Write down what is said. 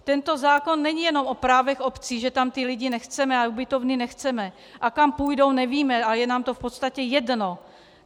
Tento zákon není jenom o právech obcí, že tam ty lidi nechceme a ubytovny nechceme a kam půjdou nevíme a je nám to v podstatě jedno.